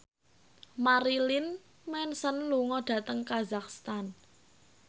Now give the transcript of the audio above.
Marilyn Manson lunga dhateng kazakhstan